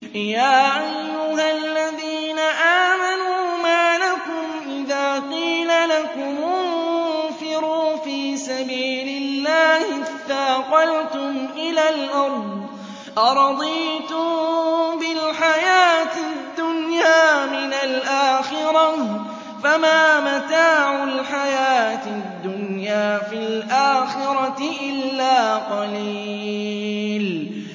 يَا أَيُّهَا الَّذِينَ آمَنُوا مَا لَكُمْ إِذَا قِيلَ لَكُمُ انفِرُوا فِي سَبِيلِ اللَّهِ اثَّاقَلْتُمْ إِلَى الْأَرْضِ ۚ أَرَضِيتُم بِالْحَيَاةِ الدُّنْيَا مِنَ الْآخِرَةِ ۚ فَمَا مَتَاعُ الْحَيَاةِ الدُّنْيَا فِي الْآخِرَةِ إِلَّا قَلِيلٌ